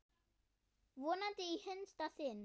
Vonandi í hinsta sinn.